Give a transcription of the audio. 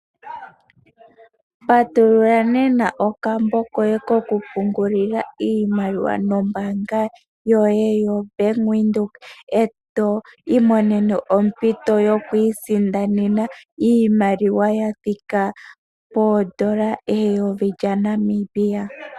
Patulula nena okambo koye koku pungulila iimaliwa nombanga yoye yo Bank Widheok eto imonene ompito yokwi sindanena iimaliwa yathika poondola eyovi lyaNamibia.